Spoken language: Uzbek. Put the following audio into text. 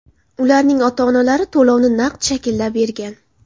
Ularning ota-onalari to‘lovni naqd shaklda bergan.